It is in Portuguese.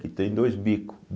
Que tem dois bicos.